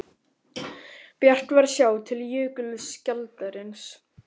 Bjart var að sjá til jökulskjaldarins.